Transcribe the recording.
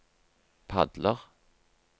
padler